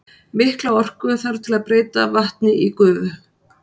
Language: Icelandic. Mikla orku þarf til að breyta vatni í gufu.